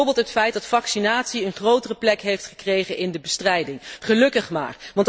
Bijvoorbeeld het feit dat vaccinatie een grotere plek heeft gekregen in de bestrijding, gelukkig maar.